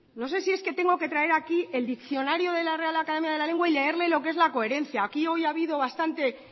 no sé si es que tengo que traer aquí el diccionario de la real academia de la lengua y leerle lo que es la coherencia aquí hoy ha habido bastante